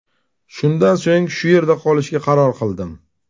Shundan so‘ng shu yerda qolishga qaror qildim.